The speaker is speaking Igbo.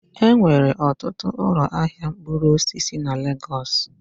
Enwere ọtụtụ ụlọ ahịa mkpụrụ osisi na Legos steeti